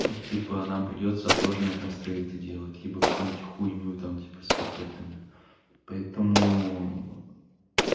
типа нам придётся отложенная констрейнты делать либо какой-нибудь хуйню там типа с пакетами поэтому